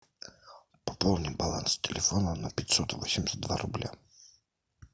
пополни баланс телефона на пятьсот восемьдесят два рубля